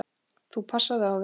Þú passar þig á þeim.